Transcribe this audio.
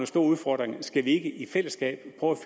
store udfordringer skal vi ikke i fællesskab prøve